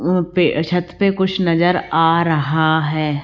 वहां पे छत पे कुछ नजर आ रहा है।